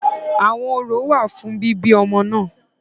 Àwọn orò wà fún bíbí ọmọ náà.